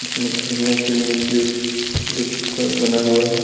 जिसमें खेलने के लिए स्लिप स्लीपर बना हुआ है।